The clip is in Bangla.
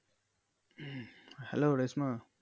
Hello রেশ্মা?